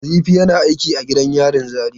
Nazifi yana aiki a gidan yarin Zaria.